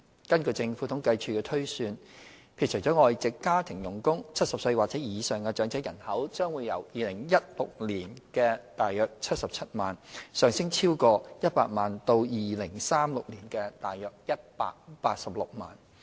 根據政府統計處的推算，撇除外籍家庭傭工 ，70 歲或以上長者人口將由2016年的約77萬，上升超過100萬至2036年的約186萬。